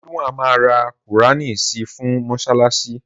Ridwan ma ra qùránì si fún mọ́ṣáláṣí.